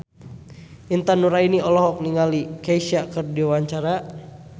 Intan Nuraini olohok ningali Kesha keur diwawancara